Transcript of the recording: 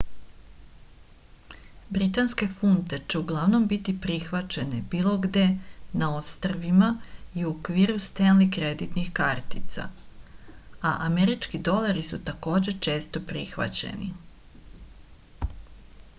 britanske funte će uglavnom biti prihvaćene bilo gde na ostrvima i u okviru stenli kreditnih kartica a američki dolari su takođe često prihvaćeni